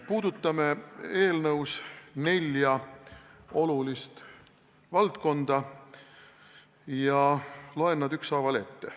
Puudutame eelnõus nelja olulist valdkonda ja loen nad ükshaaval ette.